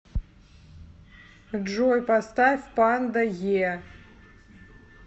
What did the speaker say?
джой поставь панда е